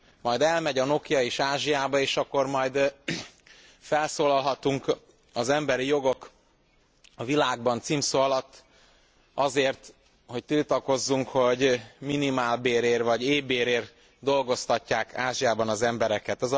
Majd elmegy a Nokia is Ázsiába, és akkor majd felszólalhatunk az emberi jogok a világban címszó alatt azért, hogy tiltakozzunk, hogy minimálbérért vagy éhbérért dolgoztatják Ázsiában az embereket.